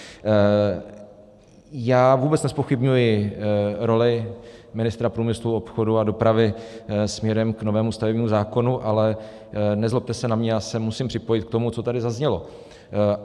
Já vůbec nezpochybňuji roli ministra průmyslu, obchodu a dopravy směrem k novému stavebnímu zákonu, ale nezlobte se na mě, já se musím připojit k tomu, co tady zaznělo.